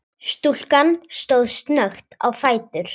Stúlkan stóð snöggt á fætur.